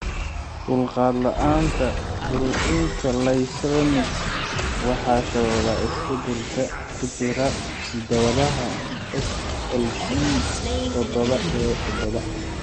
Dulqaad la'aanta borotiinka Lysinuric waxaa sababa isbeddellada ku jira hidda-wadaha SLC todoba A todoba .